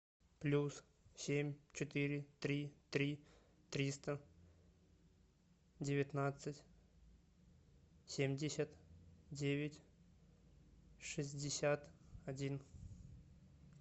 плюс семь четыре три три триста девятнадцать семьдесят девять шестьдесят один